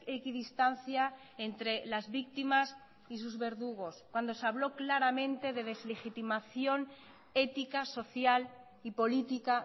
equidistancia entre las víctimas y sus verdugos cuando se habló claramente de deslegitimación ética social y política